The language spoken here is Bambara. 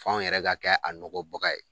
F'anw yɛrɛ ka kɛ a nɔgɔ baga ye